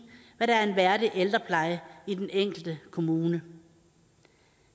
hvad der er en værdig ældrepleje i den enkelte kommune